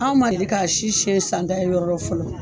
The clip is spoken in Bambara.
Anw ma deli k ka si siɲɛ san ta ye yɔrɔ lɔ fɔlɔ.